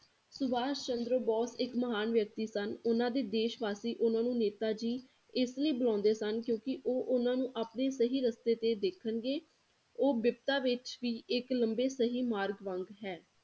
ਸੁਭਾਸ਼ ਚੰਦਰ ਬੋਸ ਇਕ ਮਹਾਨ ਵਿਅਕਤੀ ਸਨ ਉਹਨਾਂ ਦੇ ਦੇਸ਼ਵਾਸੀ ਉਹਨਾਂ ਨੂੰ ਨੇਤਾ ਜੀ ਇਸ ਲਈ ਬੁਲਾਉਂਦੇ ਸਨ ਕਿਉਂਕਿ ਉਹ ਉਹਨਾਂ ਨੂੰ ਆਪਣੇ ਸਹੀ ਰਸਤੇ ਤੇ ਦੇਖਣਗੇ ਉਹ ਬਿਪਤਾ ਵਿੱਚ ਵੀ ਇਕ ਲੰਬੇ ਸਹੀ ਮਾਰਗ ਵਾਂਗ ਹੈ